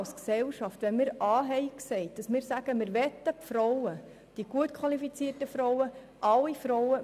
Als Gesellschaft, haben wir A gesagt, und wir wollen die gut qualifizierten Frauen, alle Frauen.